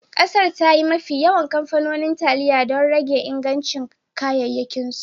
Kasar, ta yi mafi yawan kamfanonin taliya don rage ingancin kayayyakinsu